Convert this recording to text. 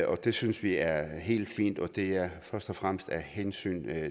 det synes vi er helt fint og det er først og fremmest af hensyn